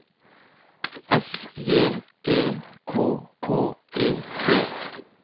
S J E K K E T